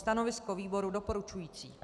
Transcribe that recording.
Stanovisko výboru doporučující.